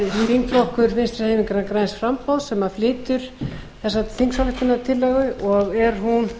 þingflokkur vinstri hreyfingarinnar græns framboðs sem flytur þessa þingsályktunartillögu og er hún